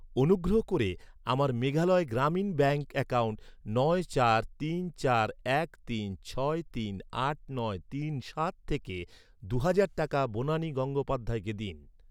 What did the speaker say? অনুগ্রহ করে, আমার মেঘালয় গ্রামীণ ব্যাঙ্ক অ্যাকাউন্ট নয় চার তিন চার এক তিন ছয় তিন আট নয় তিন সাত থেকে, দু'হাজার টাকা বনানি গঙ্গোপাধ্যায়কে দিন।